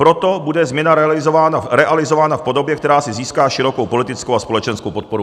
Proto bude změna realizována v podobě, která si získá širokou politickou a společenskou podporu."